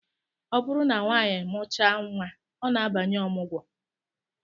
Ọ bụrụ na nwanyị mụchaa nnwa, ọ na-abanye ọmụgwọ